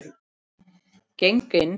Geng inn.